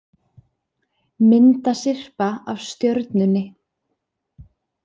Myndasyrpa af Stjörnunni